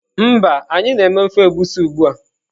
Mba, anyi na eme ofe egusi ugbua.